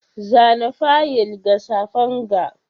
Zana fayil ga safen ga.